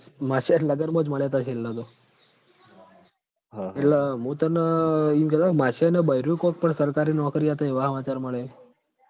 માશયાં ન લગનમાં જ મળ્યા તા છેલ્લ તો એટલ મું તન ઈમ કેતો કે માશયાંન બૈરું કોક પણ સરકારી નોકરી અતા એવા સમાચાર મળ્યા એમ